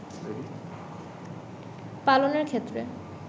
পালনের ক্ষেত্রে